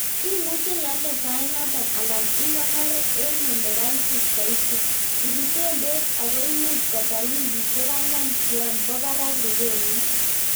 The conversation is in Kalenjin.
Imuche ialde sait noton alan ikonor en olekaitit soiti. Ibisen beek ago imuch kotar wikisiek ang'wan yon bo barak rurenyin.